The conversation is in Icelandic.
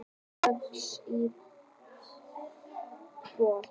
Kex í botn